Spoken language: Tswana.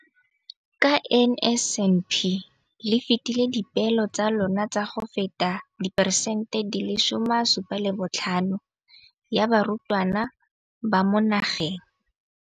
Ka NSNP le fetile dipeelo tsa lona tsa go fepa masome a supa le botlhano a diperesente ya barutwana ba mo nageng.